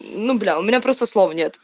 ну бля у меня просто слов нет